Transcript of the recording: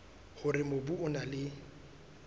hore mobu o na le